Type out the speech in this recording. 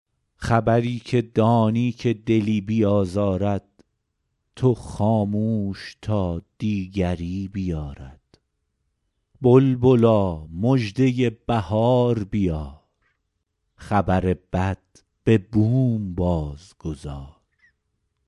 خبری که دانی که دلی بیازارد تو خاموش تا دیگری بیارد بلبلا مژده بهار بیار خبر بد به بوم باز گذار